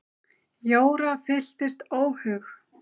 Jóra fylltist óhug.